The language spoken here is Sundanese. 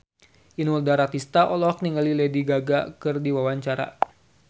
Inul Daratista olohok ningali Lady Gaga keur diwawancara